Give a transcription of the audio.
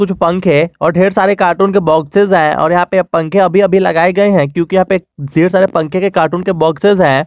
कुछ पंखे और ढेर सारे काटून के बॉक्सेस हैं और यहां पर पंखे अभी अभी लगाए गए हैं क्योंकि यहां पे ढेर सारे पंखे के कार्टून के बॉक्सेस हैं।